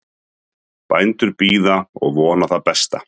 Bændur bíða og vona það besta